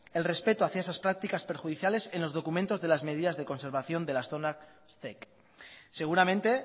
el respeto hacia esas prácticas perjudiciales en los documentos de las medidas de conservación de las zonas zec seguramente